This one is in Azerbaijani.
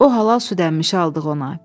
O halal süd əmişi aldıq ona.